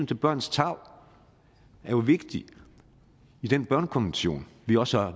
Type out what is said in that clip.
til børnenes tarv jo er vigtigt i den børnekonvention vi også har